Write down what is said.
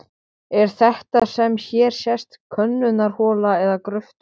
Er þetta sem hér sést könnunarhola eða gröftur?